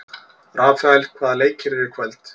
Rafael, hvaða leikir eru í kvöld?